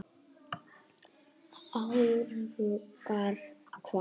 Árangur hvað?